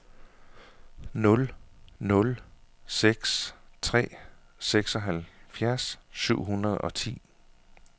nul nul seks tre seksoghalvfjerds syv hundrede og ti